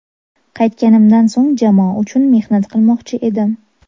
Qaytganimdan so‘ng jamoa uchun mehnat qilmoqchi edim.